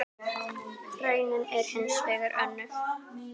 Raunin er hins vegar önnur.